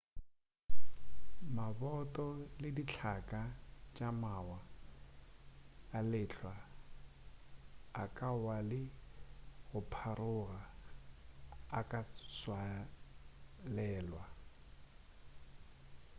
maboto le dihlaka tša mawa a lehlwa a ka wa le go pharoga a ka tswalelwa